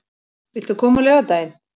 Viltu koma á laugardaginn?